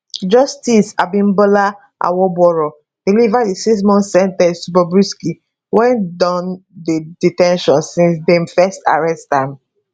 justice abimbola awogboro deliver di sixmonth sen ten ce to bobrisky wey don dey de ten tion since dem first arrest am